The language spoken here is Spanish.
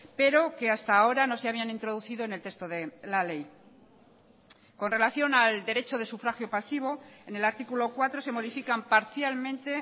pero que hasta ahora no se habían introducido en el texto de la ley con relación al derecho de sufragio pasivo en el artículo cuatro se modifican parcialmente